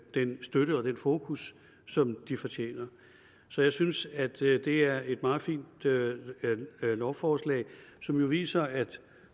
den støtte og det fokus som de fortjener så jeg synes at det er det er et meget fint lovforslag som jo viser at